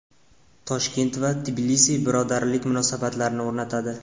Toshkent va Tbilisi birodarlik munosabatlarini o‘rnatadi.